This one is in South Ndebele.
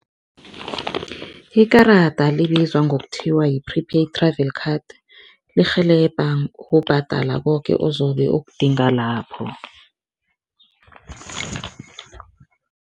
Ikarada libizwa ngokuthiwa yi-prepaid travel card lirhelebha ukubhadala koke ozobe okudingwa lapho.